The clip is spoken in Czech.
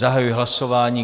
Zahajuji hlasování.